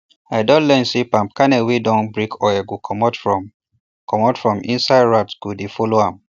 i don learn say palm kernel wey dun break oil go commot from commot from inside rats go dey follow am